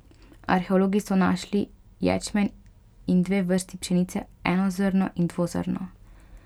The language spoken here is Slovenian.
Arheologi so našli ječmen in dve vrsti pšenice, enozrno in dvozrno.